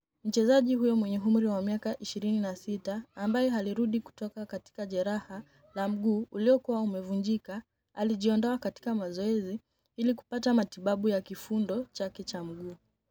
Mchezaji huyo mwenye umri wa miaka 26 ambaye alirudi kutoka katika jeraha la mguu uliokuwa umvunjika alijiondoa katika mazoezi ili kupata matibabu ya kifundo chake cha mguu.